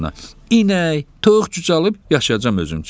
İnək, toyuq cücə alıb yaşayacam özüm üçün.